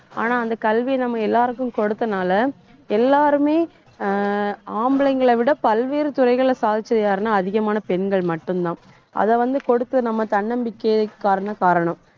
ஆனா, அந்த கல்வி நம்ம எல்லாருக்கும் கொடுத்தனால எல்லாருமே ஆஹ் ஆம்பளைங்களை விட பல்வேறு துறைகள்ல சாதிச்சது யாருன்னா அதிகமான பெண்கள் மட்டும்தான் அதை வந்து கொடுத்த நம்ம தன்னம்பிக்கையே காரணம்